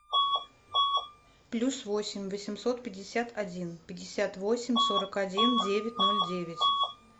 плюс восемь восемьсот пятьдесят один пятьдесят восемь сорок один девять ноль девять